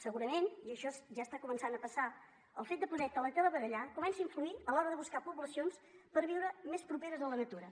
segurament i això ja està començant a passar el fet de poder teletreballar comença a influir a l’hora de buscar poblacions per viure més properes a la natura